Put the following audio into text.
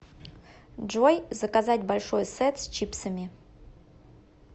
джой заказать большой сет с чипсами